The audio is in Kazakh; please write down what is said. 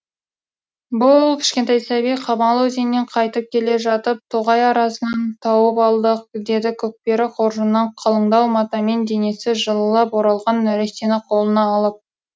бұл кішкентай сәби қамал өзеннен қайтып келе жатып тоғай арасынан тауып алдық деді көкпері қоржыннан қалыңдау матамен денесі жылылап оралған нәрестені қолына алып